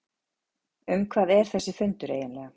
Um hvað er þessi fundur eiginlega?